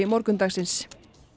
morgundagsins